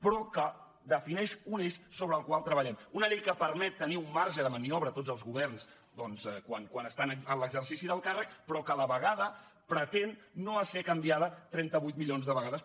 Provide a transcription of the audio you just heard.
però que defineix un eix sobre el qual treballem una llei que permet tenir un marge de maniobra a tots els governs doncs quan estan en l’exercici del càrrec però que a la vegada pretén no ésser canviada trenta vuit milions de vegades